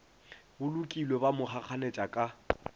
bolokilwe ba mo kgakganetša ka